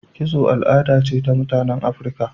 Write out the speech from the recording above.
Kitso al'ada ce ta mutanen Afrika.